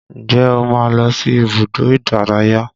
Ǹjẹ́ o máa ń lọ sí ibùdó ìdárayá?